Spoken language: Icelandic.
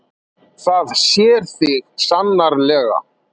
Það sér þig sannarlega.